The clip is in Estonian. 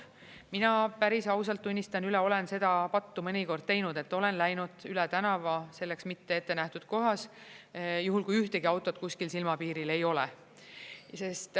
Mina päris ausalt tunnistan üles, et olen seda pattu mõnikord teinud, et olen läinud üle tänava selleks mitte ette nähtud kohas, juhul kui ühtegi autot kuskil silmapiiril ei ole.